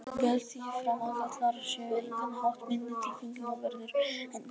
Ég held því fram að karlar séu á engan hátt minni tilfinningaverur en konur.